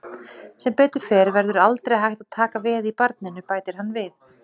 Sem betur fer verður aldrei hægt að taka veð í barninu, bætir hann við.